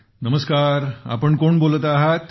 नमस्कार आपण कोण बोलत आहात